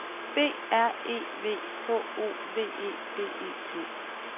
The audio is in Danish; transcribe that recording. B R E V H O V E D E T